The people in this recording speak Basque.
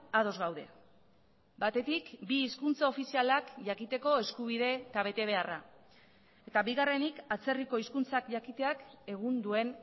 ados gaude batetik bi hizkuntza ofizialak jakiteko eskubide eta betebeharra eta bigarrenik atzerriko hizkuntzak jakiteak egun duen